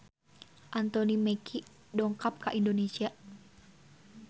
Anthony Mackie dongkap ka Indonesia